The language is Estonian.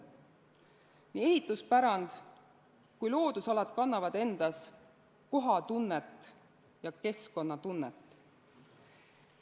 Nii ehituspärand kui ka loodusalad kannavad endas kohatunnet ja keskkonnatunnet.